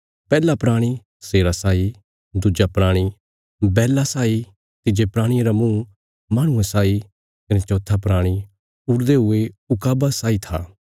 पैहला प्राणी शेरा साई दुज्जा प्राणी बैल्ला साई तिज्जे प्राणिये रा मुँह माहणुये साई कने चौथा प्राणी उड़दे हुये ऊकाबा साई था